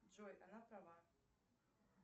джой она права